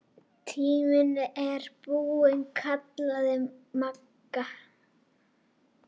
Tíminn er búinn kallaði Magga.